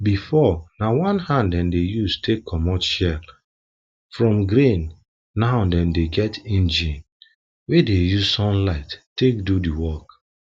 before na hand dem dey use take comot shell from grain now dem get engine wey dey use sunlight take do the work